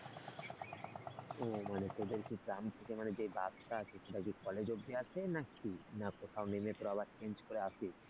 ও মানে তোদের কি গ্রাম থেকে মানে যে বাসটা আসে সেটা কি college অবধি আসে নাকি, না কোথাও নেমে তোরা আবার change করে আসিস?